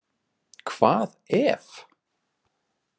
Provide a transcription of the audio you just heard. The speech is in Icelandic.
Hvað EF?